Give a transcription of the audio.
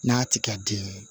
N'a ti ka di ye